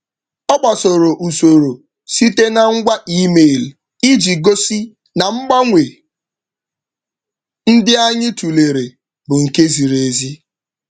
Ọ gbasoro usoro site na ngwa email iji gosi na mgbanwe ndị anyị tụlere bụ nke ziri ezi.